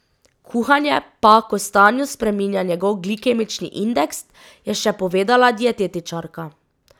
Kuhanje pa kostanju spreminja njegov glikemični indeks, je še povedala dietetičarka.